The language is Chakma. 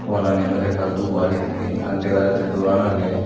wallani olode ekka dup aro hedekken an dega jatte doran agey.